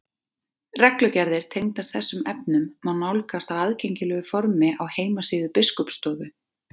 Reglugerðir tengdar þessum efnum má nálgast á aðgengilegu formi á heimasíðu Biskupsstofu.